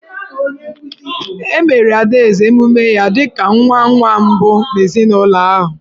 E meere Adaeze emume ya dị ka nwa nwa mbụ n’ezinụlọ ahụ.